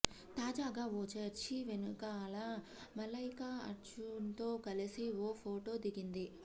తాజాగా ఓ చర్చీ వెనకాల మలైకా అర్జున్తో కలిసి ఓ ఫోటో దిగింది